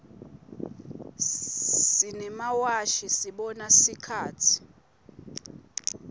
simemawashi sibona sikhatsi